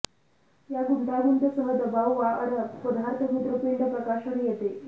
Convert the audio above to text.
या गुंतागुंत सह दबाव वाढ पदार्थ मूत्रपिंड प्रकाशन येते